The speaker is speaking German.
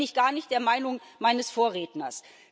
Da bin ich gar nicht der Meinung meines Vorredners.